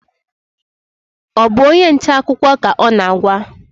Ọ bụ onye nta akụkọ ka ọ na-agwa?